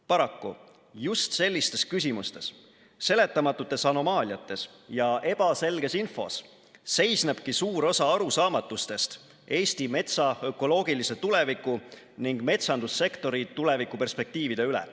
Paraku just sellistes küsimustes, seletamatutes anomaaliates ja ebaselges infos seisnebki suur osa arusaamatustest Eesti metsa ökoloogilise tuleviku ning metsandussektori tulevikuperspektiivide üle.